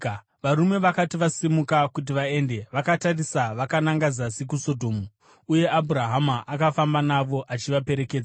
Varume vakati vasimuka kuti vaende, vakatarisa vakananga zasi kuSodhomu, uye Abhurahama akafamba navo achivaperekedza.